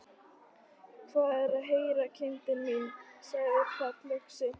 Hvað er að heyra, kindin mín, þú sagðir fallöxi.